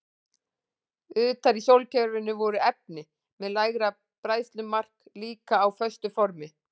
Utar í sólkerfinu voru efni með lægra bræðslumark líka á föstu formi.